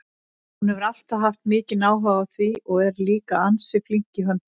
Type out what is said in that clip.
Hún hefur alltaf haft mikinn áhuga á því og er líka ansi flink í höndunum.